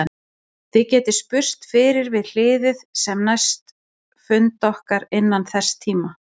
Þið getið spurst fyrir við hliðið um næsta fund okkar innan þess tíma.